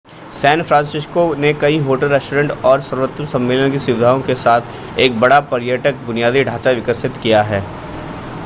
San Francisco ने कई hotel restaurant और सर्वोत्तम सम्मेलन की सुविधाओं के साथ एक बड़ा पर्यटक बुनियादी ढांचा विकसित किया है